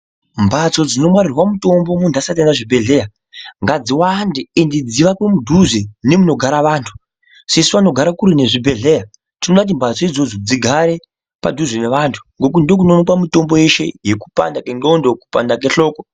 Mbatso dzinongwarira mutombo ngadzigare munthu asati aenda kuzvibhedhleya ngadziwande ende dzivakwe mudhuze nemunigara anthu sesu vanogara kure nezvibhedhleya tinoda kuti mbatso idzodzo dzigare padhuze nevanthu ngekuti ndikwo kunowanikwa mitombo yeshe yekupanda kwendxondo kupanda kwehloko.